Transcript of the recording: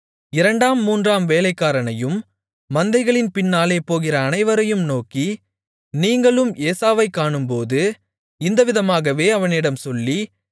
இரண்டாம் மூன்றாம் வேலைக்காரனையும் மந்தைகளின் பின்னாலே போகிற அனைவரையும் நோக்கி நீங்களும் ஏசாவைக் காணும்போது இந்தவிதமாகவே அவனிடம் சொல்லி